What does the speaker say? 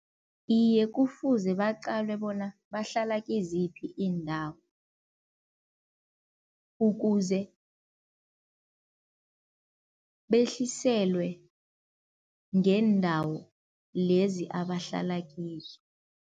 Iye kufuze baqalwe bona bahlala kiziphi iindawo, ukuze behliselwe ngeendawo lezi abahlala kizo.